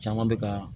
Caman bɛ ka